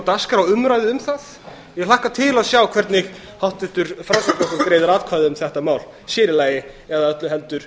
dagskrá umræðu um það ég hlakka til að sjá hvernig háttvirtur framsóknarflokkur greiðir atkvæði um þetta mál sér í lagi eða öllu heldur